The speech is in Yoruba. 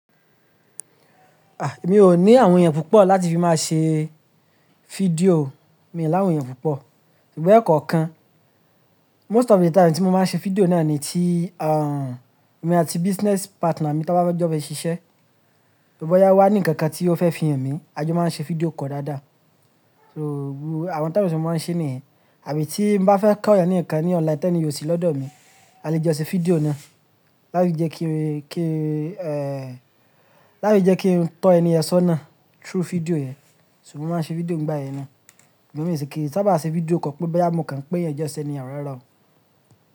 Mi ò ní àwọn èèyàn púpọ̀ láti fi máa ṣe fídíò, mi ò ní àwọn èèyàn púpọ̀. Ṣùgbọ́n ẹ̀kọ́ kan, most of the time tí mo máa ṣe fídíò náà ni tí, èmi àti business partner mi tá bá fe jọ bá fi ṣiṣẹ́. Bọ́yá ó wá ní ǹkan kan tí ó fẹ́ fi hàn mí, a jọ máa ṣe fídíò call dáadáa. So àwọn time tí mo máa ń ṣe nìyẹn. Àbí tí n bá fẹ́ kọ́ èèyàn ní ǹkan ní online tán ni ò sì lọ́dọ̀ mi, a lè jo ṣe fídíò náà. Láti je ki n tó ẹni yẹn sọ́nà through fídíò yẹn. Ṣùgbọ́n mo máa ṣe fídíò nígbà yẹn náà. Ṣùgbọ́n mi ò kí sabá ṣe fídíò kan pé boya mọ̀ káàń pé ẹniyẹn just any how rara o.